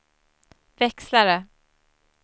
växlare